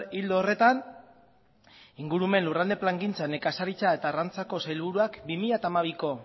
ildo horretan ingurumen lurralde plangintza nekazaritza eta arrantzako sailburuak bi mila hamabiko